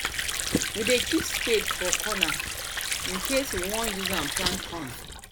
we dey keep spade for corner incase we won use am plant corn